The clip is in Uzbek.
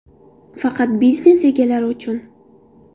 Faqat biznes egalari uchun!!!.